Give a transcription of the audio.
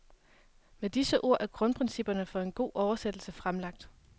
Med disse ord er grundprincipperne for en god oversættelse fremlagt.